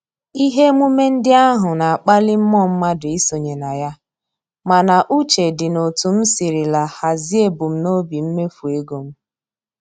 Ihe emume ndị ahụ na-akpali mmụọ mmadụ isonye na ya, mana uche dị n'otu m sirila hazie ebumnobi mmefu ego m